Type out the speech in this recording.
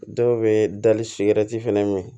Dɔw bɛ dali siranti fɛnɛ min